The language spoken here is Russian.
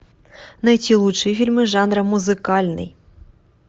найти лучшие фильмы жанра музыкальный